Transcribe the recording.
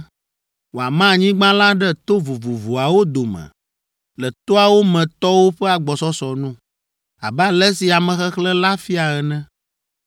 “Wòama anyigba la ɖe to vovovoawo dome le toawo me tɔwo ƒe agbɔsɔsɔ nu, abe ale si amexexlẽ la fia ene.